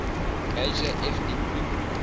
major ethnic group